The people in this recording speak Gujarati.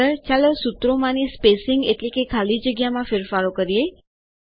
આગળચાલો સૂત્રોમાંની સ્પેસીંગ એટલેકે ખાલી જગ્યામાં ફેરફારો કરીએ